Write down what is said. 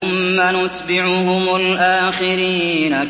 ثُمَّ نُتْبِعُهُمُ الْآخِرِينَ